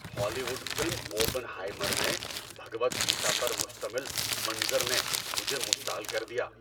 ہالی would film "Oppenheimer" میں بھگود گیتا پر مشتمل منظر نے مجھے مشتعل کر دیا۔